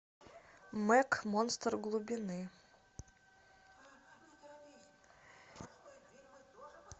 мег монстр глубины